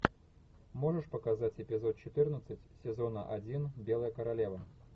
можешь показать эпизод четырнадцать сезона один белая королева